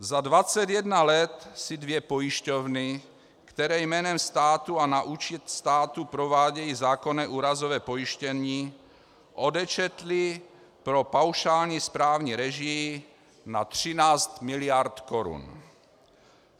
Za 21 let si dvě pojišťovny, které jménem státu a na účet státu provádějí zákonné úrazové pojištění, odečetly pro paušální správní režii na 13 mld. korun.